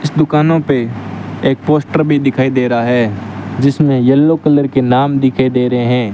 इस दुकानों पे एक पोस्टर भी दिखाई दे रहा है जिसमें येलो कलर के नाम दिखाई दे रहे हैं।